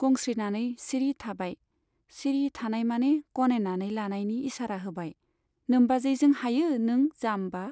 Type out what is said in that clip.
गंस्रिनानै सिरि थाबाय, सिरि थानाय माने गनायनानै लानायनि इसारा होबाय , नोम्बाजैजों हायो नों जाम्बा ?